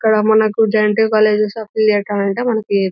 ఇక్కడ మనకు JNTU colleges affiliated అంటే మనకి--